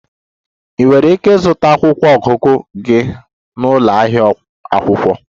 Ị nwere ike ịzụta akwụkwọ ọgụgụ gị na ụlọ ahịa akwụkwọ.